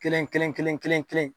Kelen kelen kelen kelen